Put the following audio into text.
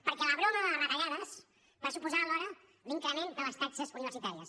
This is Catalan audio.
perquè la broma de les retallades va suposar alhora l’increment de les taxes universitàries